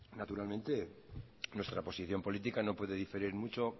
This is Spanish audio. naturalmente nuestra posición política no puede diferir mucho